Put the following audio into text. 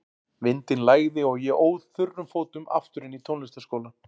Vindinn lægði og ég óð þurrum fótum aftur inn í tónlistarskólann.